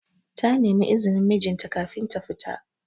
Ta nemi izinin mijin ta kafin ta fita.